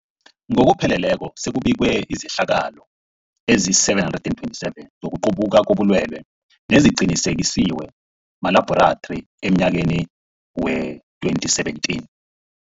Ngokupheleleko, sekubikwe izehlakalo ezima-727 zokuqubuka kobulwelobu neziqinisekiswe malabhorathri emnyakeni we-2017.